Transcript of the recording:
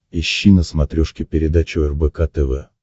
ищи на смотрешке передачу рбк тв